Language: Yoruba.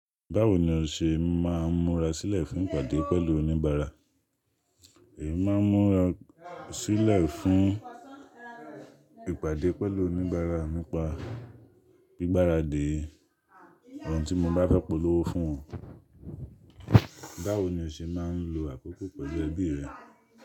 Báwo ni o ṣe máa ń múra sílẹ̀ fún ìpàdé pẹ̀lú oníbàárà? Èmi máa ń múra sílẹ̀ fún ìpàdé pẹ̀lú oníbàárà nípa gbígbára dé ohun tí mo bá fẹ́ polówó fún wọn. Báwo ni o ṣe máa ń lo àkókò pẹ̀lú ẹbí rẹ?